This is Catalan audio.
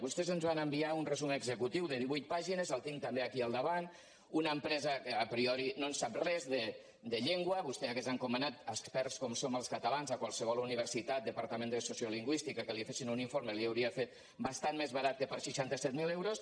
vostès ens en van enviar un resum executiu de divuit pàgines el tinc també aquí al davant d’una empresa que a prioritè hagués encomanat a experts com som els catalans a qualsevol universitat departament de sociolingüística perquè li fessin un informe l’hi haurien fet bastant més barat que per seixanta set mil euros